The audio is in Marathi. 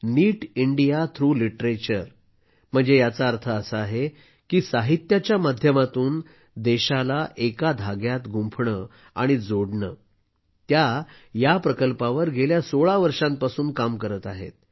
नीट इंडिया थ्रू लिटरेचर म्हणजे याचा अर्थ असा आहे की साहित्याच्या माध्यमातून देशाला एका धाग्यात गुंफणं आणि जोडणं त्या या प्रकल्पावर गेल्या सोळा वर्षांपासून काम करत आहेत